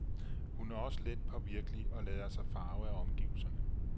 Hun er også letpåvirkelig og lader sig farve af omgivelserne.